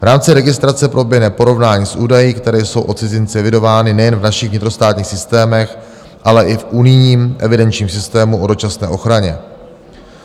V rámci registrace proběhne porovnání s údaji, které jsou o cizinci evidovány nejen v našich vnitrostátních systémech, ale i v unijním evidenčním systému o dočasné ochraně.